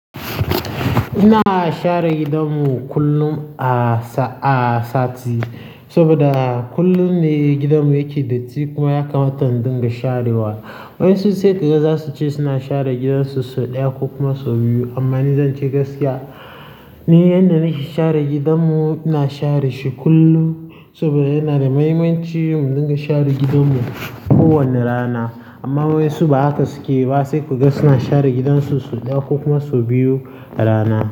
Ina share gidanmu kullum a sa-- a sati saboda kullum ne gidanmu yake datti kuma ya kamata in dun ga sharewa. Waɗansu sai kaga za su ce suna share gidan su sau ɗaya ko kuma sau biyu. Amma ni zan ce gaskiya, ni yanda nake share gidanmu, ina share shi kullum saboda yana da muhimmanci mudun ga share gidanmu kowane rana. Amma waɗansu ba haka suke ba, sai kuga suna share gidan su sau ɗaya ko kuma sau biyu a rana.